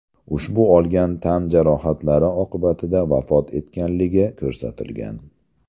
ushbu olgan tan jarohatlari oqibatida vafot etganligi ko‘rsatilgan.